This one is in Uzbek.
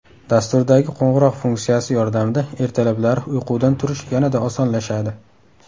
Dasturdagi qo‘ng‘iroq funksiyasi yordamida ertalablari uyqudan turish yanada osonlashadi.